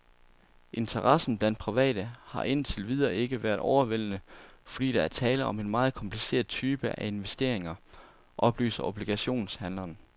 Interessen blandt private har ind til videre ikke været overvældende, fordi der er tale om en meget kompliceret type af investeringer, oplyser obligationshandleren.